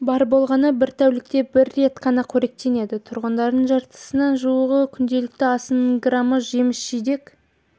бар болғаны бір тәулікте бір рет қана қоректенеді тұрғындардың жартысына жуығы күнделікті асының грамы жеміс-жидек